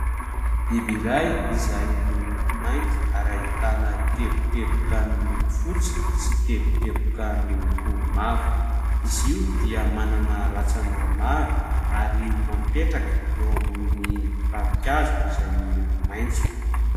Biby iray izay milkoko mainty ary ahitana teboteboka miloko fotsy sy teboteboka miloko mavo. Izy io dia manana rantsana maro ary mipetraka eo ambony ravinkazo izay miloko maitso.